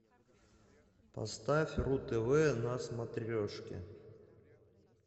поставь ру тв на смотрешки